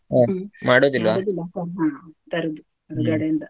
ತರುದು ಅಂಗಡಿಯಿಂದ.